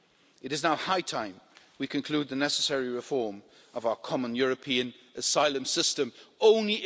It is now high time we conclude the necessary reform of our Common European Asylum System Only